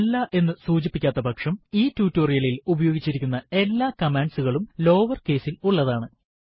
അല്ല എന്ന് സൂചിപ്പിക്കാത്ത പക്ഷം ഈ ടുടോരിയലിൽ ഉപയോഗിച്ചിരിക്കുന്ന എല്ലാ കമാൻഡ്സ് കളും ലോവർ കേസ് ൽ ഉള്ളതാണ്